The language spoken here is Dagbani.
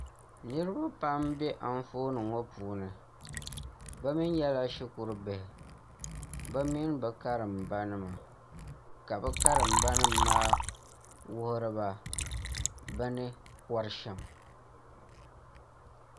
niriba pam m-be anfooni ŋɔ puuni bɛ mi nyɛla shikurubihi bɛ mini bɛ karimbanima ka bɛ karimbanima maa wuhiri ba bɛ ni kɔri sham